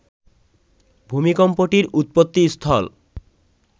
ভূমিকম্পটির উৎপত্তিস্থল